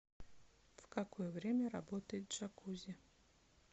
в какое время работает джакузи